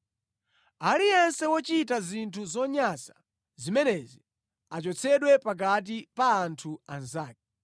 “ ‘Aliyense wochita zinthu zonyansa zimenezi achotsedwe pakati pa anthu anzake.